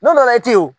N'o la e te yen wo